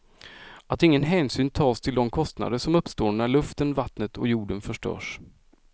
Att ingen hänsyn tas till de kostnader som uppstår när luften, vattnet och jorden förstörs.